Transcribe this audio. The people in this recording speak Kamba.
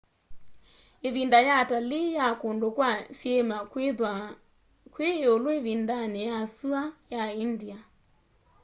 ivinda ya atalii ya kundu kwa syiima kwithwaa kwi iulu ivindani ya sua ya india